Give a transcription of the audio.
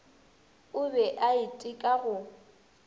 o be a iteka go